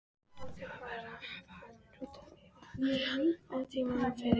Þjóðverja að hafa trúnaðarmann jafnt á tímum friðar sem ófriðar.